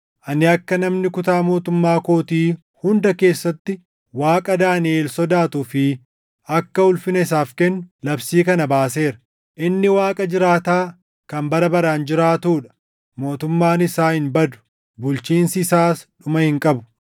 “Ani akka namni kutaa mootummaa kootii hunda keessatti Waaqa Daaniʼel sodaatuu fi akka ulfina isaaf kennu labsii kana baaseera. “Inni Waaqa jiraataa, kan bara baraan jiraatuu dha; mootummaan isaa hin badu; bulchiinsi isaas dhuma hin qabu.